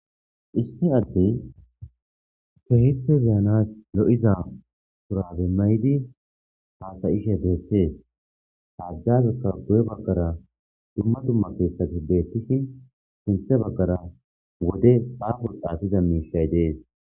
Isi adey kehipe be'anas lo'za shurabe mayidi hasa'ishe betes azape guye bagara duma duma kethati betishen sinta bagara wode xafan xafiza misha de'es.